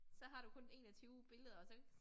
Så har du kun 21 billeder og så